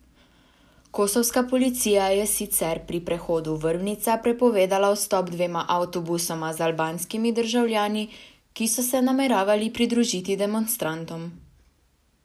Kosovska policija je sicer pri prehodu Vrbnica prepovedala vstop dvema avtobusoma z albanskimi državljani, ki so se nameravali pridružiti demonstrantom.